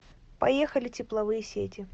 поехали тепловые сети